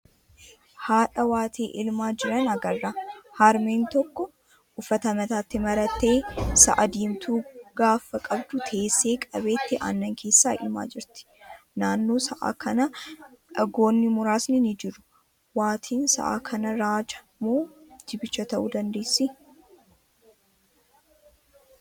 Haadha waatii elmaa jiran agarra. Harmeen tokko uffata mataatti marattee sa'a diimtuu gaafa qabdu teessee qabeetti aannan keessaa elmaa jirti. Naannoo sa'a kanaa dhagoonni muraasni ni jiru. Waatiin sa'a kanaa raaja moo jibicha ta'uu dandeessii?